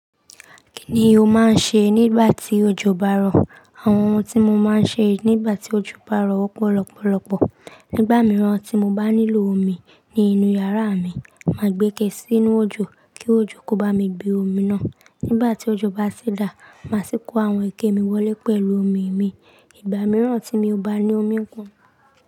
Kí ni o máa ń ṣe nígbà tí òjò bá rọ̀? Àwọn ohun tí mo máa ń ṣe nígbà tí òjò bá rọ̀ ọ́pọ̀ lọ́pọ̀lọ́pọ̀. Nígbà mìíràn tí mo bá nílò omi ní inú yàrá mi, màá gbẹ́kẹ̀ sí inú òjò kí òjò kó bá mi gbé omi náà. Nígbà tí òjò bá ti dà, màá sì kó àwọn ike mi wọlé pẹ̀lú omi mi. Ìgbà mìíràn tí mio bá ní omi pon.